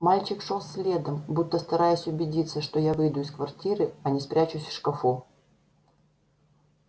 мальчик шёл следом будто стараясь убедиться что я выйду из квартиры а не спрячусь в шкафу